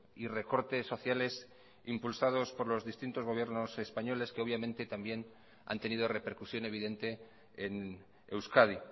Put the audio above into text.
y recortes sociales impulsados por los distintos gobiernos españoles que obviamente también han tenido repercusión evidente en euskadi